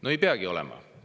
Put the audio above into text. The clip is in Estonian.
No ei peagi olema.